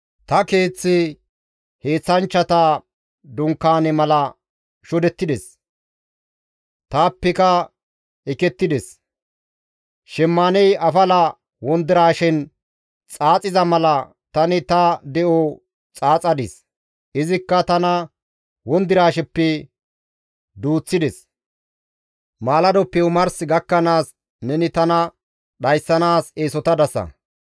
Ta keeththi heenththanchchata dunkaane mala shodettides; taappeka ekettides; Shemmaaney afala wondiraashen xaaxiza mala, tani ta de7o xaaxadis; izikka tana wondiraasheppe duuththides. Malladoppe omars gakkanaas, neni tana dhayssanaas eesotadasa.